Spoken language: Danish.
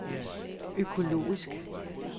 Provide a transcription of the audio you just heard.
økologisk